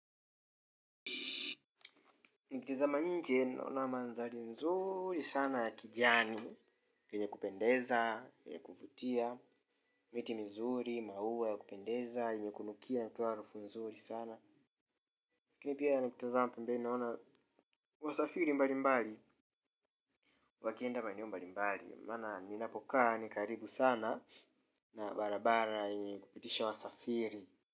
Nikitazama nje naona mandhari nzuri sana ya kijani yenye kupendeza ya kuvutia miti mizuri maua yakupendeza yenye kunukia inatoa harufu nzuri sana lakini pia nikitizama pembeni naona, wasafiri mbali mbali, wakienda maeneo mbali mbali, maana ninapokaa ni karibu sana na barabara yenye kupitisha wasafiri.